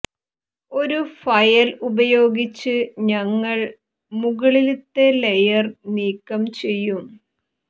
ഒരു ഫയൽ ഉപയോഗിച്ച് ഞങ്ങൾ മുകളിലത്തെ ലേയർ നീക്കം ചെയ്യും